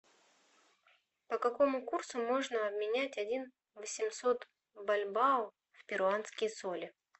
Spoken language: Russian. по какому курсу можно обменять один восемьсот бальбоа в перуанские соли